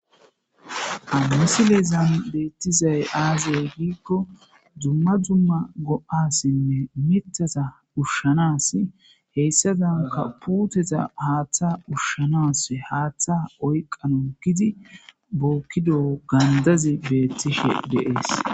Ha misilezan betizay aaze gidikoni dumma dumma go'asinne mithaza ushanasi , heysadanka puuteta haatha ushanasi haatha oykanasi giidi bookido gandazi beetishe de'es.